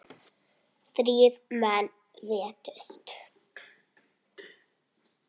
Þrír menn létust.